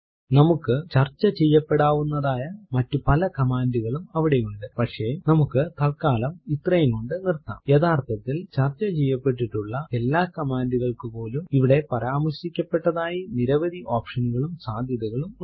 നമുക്ക് ചർച്ച ചെയ്യപ്പെടാവുന്നതായ മറ്റു പല command കളും അവിടെയുണ്ട് പക്ഷെ നമുക്ക് തല്ക്കാലം ഇത്രയും കൊണ്ട് നിർത്താംയഥാർത്ഥത്തിൽ ചർച്ച ചെയ്യപ്പെട്ടിട്ടുള്ള എല്ലാ command കൾക്കുപോലും ഇവിടെ പരാമർശിക്കപ്പെടാത്തതായ നിരവധി option കളും സാധ്യതകളും ഉണ്ട്